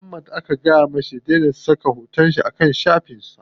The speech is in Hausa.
Muhammad aka fada ma ya dai na saka hoton sa a kan shafin sa.